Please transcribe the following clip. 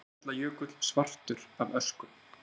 eyjafjallajökull svartur af ösku